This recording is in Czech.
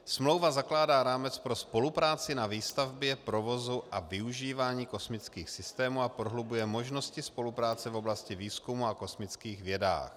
Smlouva zakládá rámec pro spolupráci na výstavbě, provozu a využívání kosmických systémů a prohlubuje možnosti spolupráce v oblasti výzkumu a kosmických vědách.